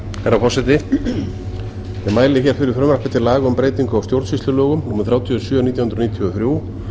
virðulegi forseti ég mæli hér fyrir frumvarpi til laga um breytingu á stjórnsýslulögum númer þrjátíu og sjö nítján hundruð